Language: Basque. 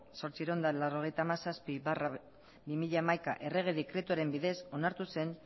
zortziehun eta laurogeita hamazazpi barra bi mila hamaika errege dekretuaren bidez onartu zen